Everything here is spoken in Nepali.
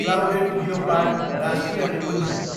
क्लाउडेड लियोपार्ड राष्ट्रिय निकुञ्ज